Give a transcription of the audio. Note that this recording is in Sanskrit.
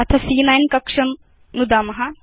अथ सी॰॰9 कक्षं नुदाम